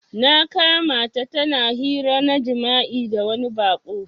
Na kamata tana hira na jima'i da wani bako.